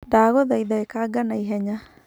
Ndagũthaitha ĩkanga naihenya.